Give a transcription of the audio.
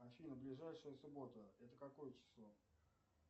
афина ближайшая суббота это какое число